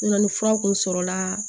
ni fura kun sɔrɔla